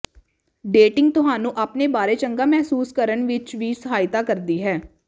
dating ਤੁਹਾਨੂੰ ਆਪਣੇ ਬਾਰੇ ਚੰਗਾ ਮਹਿਸੂਸ ਕਰਨ ਵਿੱਚ ਵੀ ਸਹਾਇਤਾ ਕਰਦੀ ਹੈ